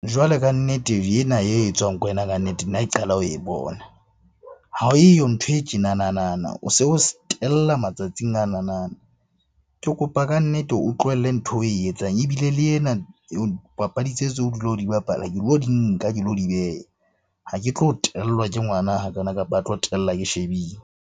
Jwale kannete ena e etswang ke wena kannete nna ke qala ho e bona. Ha eyo nthwe e tjenanana, o se o tella matsatsing ananana. Ke kopa kannete o tlohelle ntho eo oe etsang, ebile le ena papadi tse tseo o dula o di bapala ke lo di nka ke lo di beha. Ha ke tlo tellwa ke ngwana hakana, kapa a tlo tella ke shebile.